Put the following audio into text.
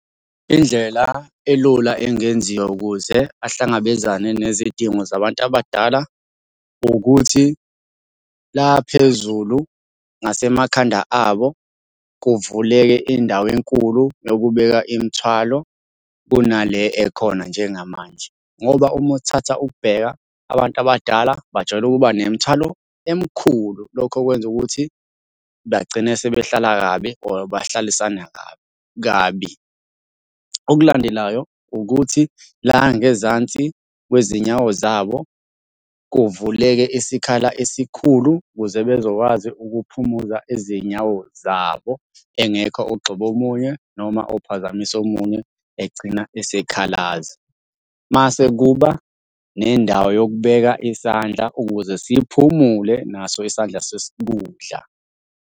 Indlela elula engenziwa ukuze ahlangabezane nezidingo zabantu abadala, ukuthi la phezulu ngasemakhanda abo, kuvuleke indawo enkulu yokubeka imithwalo kunale ekhona njengamanje, ngoba uma uthatha ukubheka abantu abadala bajwayele ukuba nemithwalo emkhulu. Lokho kwenza ukuthi bagcine sebehlala kabi or bahlalisana kabi kabi. Okulandelayo ukuthi la ngezansi kwezinyawo zabo, kuvuleke isikhala esikhulu ukuze bezokwazi ukuphumuza izinyawo zabo engekho ogxoba omunye noma ophazamisa omunye agcine esekhalaza. Mase kuba nendawo yokubeka isandla ukuze siphumule naso isandla sesikudla.